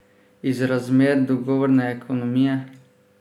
Iz razmer dogovorne ekonomije?